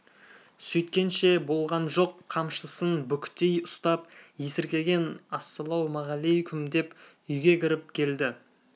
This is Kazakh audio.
сөйткенше болған жоқ қамшысын бүктей ұстап есіркеген ассалаумағалейкүм деп үйге кіріп келді